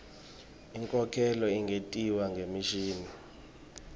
inkhokhelo ingentiwa ngemishini